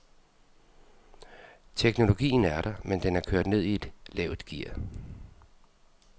Teknologien er der, men den er kørt ned i et lavt gear.